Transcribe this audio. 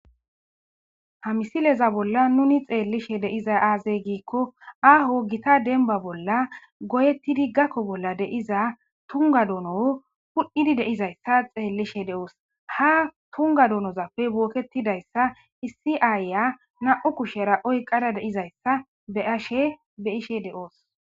Ha missileza bolan nuni xelishe de'izay aze giko aho gita demba bola goyetidi gako bola de'iza tunga dono hudhidi de'zayta xelishe de'os ha tunga donozape boketidaysa issi ayiya nam'u kushera oyqada de'zaysa be'ashe be'ishe de'os.